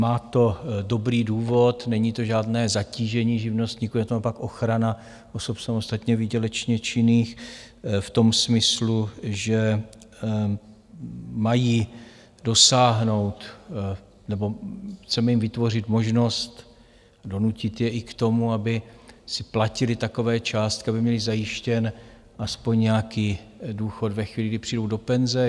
Má to dobrý důvod - není to žádné zatížení živnostníků, je to naopak ochrana osob samostatně výdělečně činných v tom smyslu, že mají dosáhnout - nebo chceme jim vytvořit možnost, donutit je i k tomu, aby si platili takové částky, aby měli zajištěn aspoň nějaký důchod ve chvíli, kdy přijdou do penze.